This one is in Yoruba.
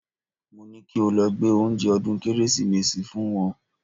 Mo ní kí o lọ gbé oúnjẹ ọdún Kérésìmesì fún wọn